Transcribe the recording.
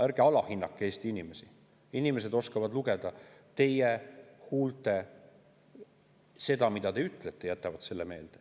Ärge alahinnake Eesti inimesi, inimesed oskavad lugeda teie huultelt seda, mida te ütlete, ja jätavad selle meelde.